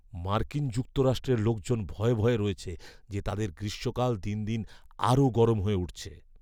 মার্কিন যুক্তরাষ্ট্রের লোকজন ভয়ে ভয়ে রয়েছে যে তাদের গ্রীষ্মকাল দিন দিন আরও গরম হয়ে উঠছে।